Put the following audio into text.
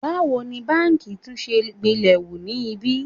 Báwo ni báǹkì tún ṣe gbilẹ̀ hu ni ibí?